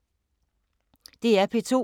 DR P2